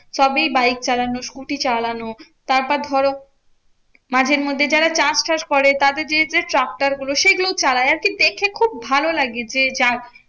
সবই বাইক চালানো scooter চালানো তারপর ধরো মাঝে মধ্যে যারা চাষ টাস করে তাদের দিকে যে ট্রাক্টর গুলো সেগুলো চালায় আরকি। দেখে খুব ভালো লাগে যে যাচ্ছে